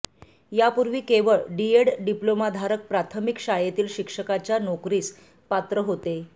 यापूर्वी केवळ डिएड डिप्लोमाधारक प्राथमिक शाळेतील शिक्षकाच्या नोकरीस पात्र होते